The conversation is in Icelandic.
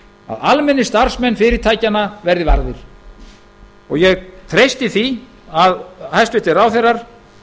að almennir starfsmenn fyrirtækjanna verði varðir ég treysti því að hæstvirtir ráðherrar